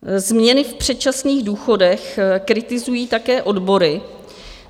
Změny v předčasných důchodech kritizují také odbory.